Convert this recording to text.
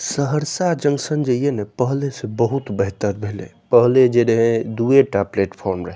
Saharsa junction जे ये ने पहले से बहुत बेहतर भेले पहले जे रहे दूए टा प्लेटफार्म रहे।